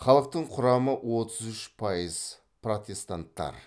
халықтың құрамы отыз үш пайыз протестанттар